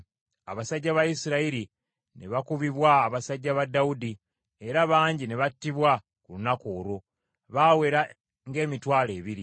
Abasajja ba Isirayiri ne bakubibwa abasajja ba Dawudi, era bangi ne battibwa ku lunaku olwo. Baawera ng’emitwalo ebiri.